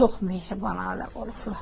Çox mehriban ailə olublar.